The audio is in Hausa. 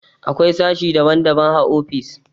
Akwai sashi daban-daban a ofis.